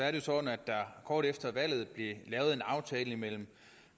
er det sådan at der kort efter valget blev lavet en aftale mellem